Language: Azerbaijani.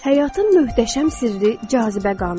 Həyatın möhtəşəm sirri cazibə qanunudur.